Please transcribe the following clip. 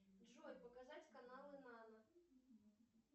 джой показать каналы нано